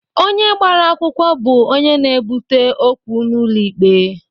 Onye gbara akwụkwọ bụ onye na-ebute okwu n'ụlọ ikpe.